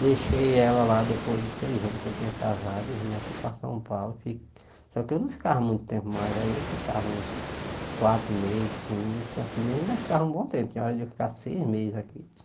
Deixei ela lá depois de seis anos que eu tinha casado, e vim aqui para São Paulo, só que eu não ficava muito tempo mais, aí eu ficava uns quatro meses, cinco, assim mesmo ainda ficava um bom tempo, tinha hora de eu ficar seis meses aqui.